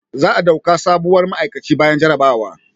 Za a dauka sabuwar ma'aikaci bayan jarabawa